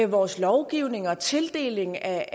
vores lovgivning og tildeling af